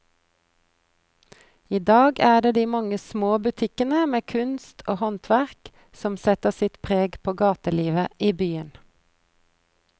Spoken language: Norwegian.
I dag er det de mange små butikkene med kunst og håndverk som setter sitt preg på gatelivet i byen.